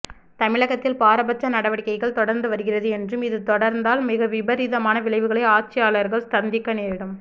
தமிழகத்தில் பாரபட்ச நடவடிக்கைகள் தொடர்ந்து வருகிறது என்றும் இது தொடர்ந்தால் மிக விபரீதமான விளைவுகளை ஆட்சியாளர்கள் சந்திக்க நேரிடும்